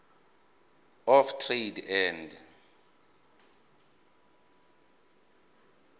of trade and